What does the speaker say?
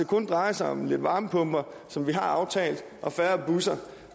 kun drejer sig om lidt varmepumper som vi har aftalt og færre busser